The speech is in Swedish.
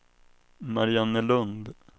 Mariannelund